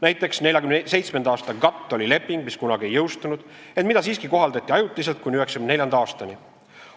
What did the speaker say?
Näiteks 1947. aasta GATT oli leping, mis kunagi ei jõustunud, ent mida siiski kohaldati ajutiselt kuni 1994. aastani.